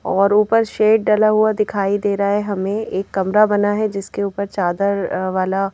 और ऊपर शेड डला हुआ दिखाई दे रहा है हमें एक कमरा बना है जिसके ऊपर चादर वाला--